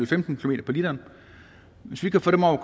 femten km på literen hvis vi kan få dem op